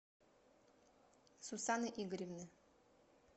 сусаны игоревны